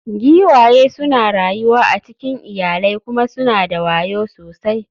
Giwaye suna rayuwa a cikin iyalai kuma suna da wayo sosai.